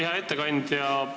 Hea ettekandja!